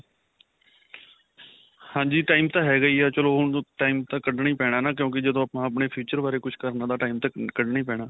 ਹਾਂਜੀ time ਤਾਂ ਹੈਗਾ ਹੀ ਹੈ. ਚਲੋ ਹੁਣ time ਤਾਂ ਕਡਨਾ ਹੀ ਪੈਣਾ ਨਾ ਕਿਉਂਕਿ ਜਦੋ ਆਪਾਂ ਆਪਣੇ future ਬਾਰੇ ਕਿਝ ਕਰਨਾ ਤਾਂ time ਤਾਂ ਕੱਡਣਾ ਹੀ ਪੈਣਾ.